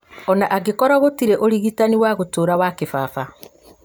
ona angĩkorwo gũtirĩ ũrigitani wa gũtũũra wa kĩbaba